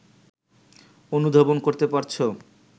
অনুধাবন করতে পারছো